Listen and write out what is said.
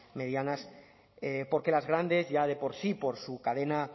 medianas porque las grandes ya de por sí por su cadena